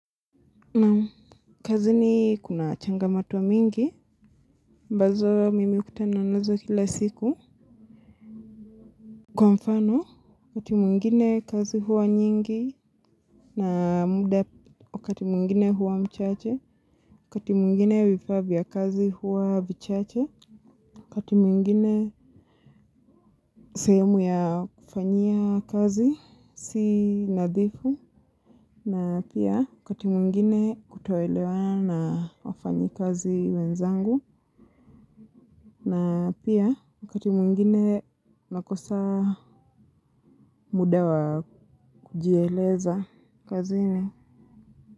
Naam, kazini kuna changamoto nyingi, ambazo mimi hukutana nazo kila siku. Kwa mfano, wakati mwingine kazi huwa nyingi na muda, wakati mwingine huwa mchache, wakati mwingine vifaa vya kazi huwa vichache, wakati mwingine sehemu ya kufanyia kazi si nadhifu na pia wakati mwingine kutoelewana na wafanyikazi wenzangu na pia wakati mwingine na kosa muda wa kujieleza kazini.